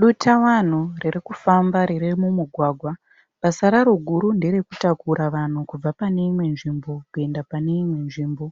Dutavanhu riri kufamba riri mumugwagwa. Basa raro guru nderekutakura vanhu kubva pane imwe nzvimbo kuenda pane imwe nzvimbo